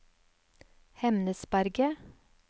Hemnesberget